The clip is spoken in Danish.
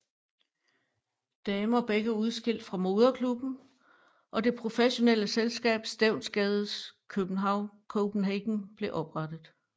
Damer begge udskilt fra moderklubben og det professionelle selskab Stevnsgade Copenhagen blev oprettet